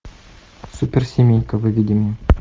суперсемейка выведи мне